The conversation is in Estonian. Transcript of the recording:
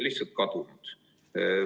lihtsalt kadunud.